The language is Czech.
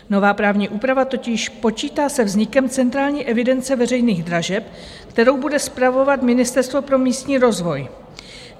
Nová právní úprava totiž počítá se vznikem Centrální evidence veřejných dražeb, kterou bude spravovat Ministerstvo pro místní rozvoj.